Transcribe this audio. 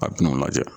A bina o lajɛ